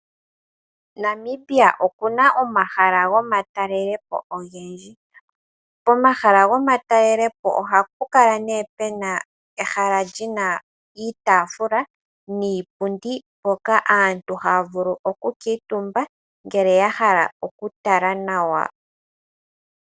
Namibia oku na omahala gomatalelepo ogendji. Pomahala gomatalelepo oha pu kala pu na ehala li na iitaafula niipundi mpoka aantu ha ya vulu okukuutumba, ngele ya hala okutala nawa.